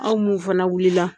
Aw mun fana wuli la.